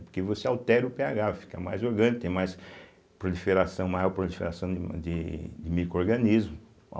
Porque você altera o pêagá, fica mais orgânico, tem mais proliferação, maior proliferação de ma de de microrganismo.